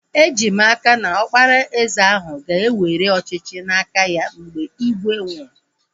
Eji m n'aka, na Ọkpara eze ahu ga-ewere ọchịchị n'aka ya mgbe ígwè nwụrụ